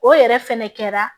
O yɛrɛ fɛnɛ kɛra